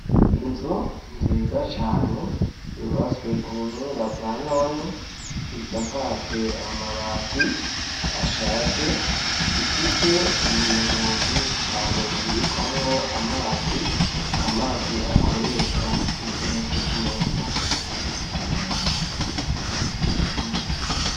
Inzu nziza cane yubatswe kubuhinga bwa none isakajwe amabati ashaje ifise ibintu vyinshi cane bibikwamwo amazi, amazi akoreshwa igihe co kumesa.